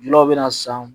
Aw bɛna san